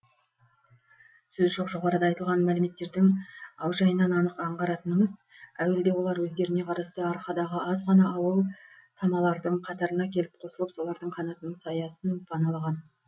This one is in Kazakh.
сөз жоқ жоғарыда айтылған мәліметтердің аужайынан анық аңғаратынымыз әуелде олар өздеріне қарасты арқадағы аз ғана ауыл тамалардың қатарына келіп қосылып солардың қанатының саясын паналаған